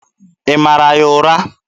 Ị mara ya ụra?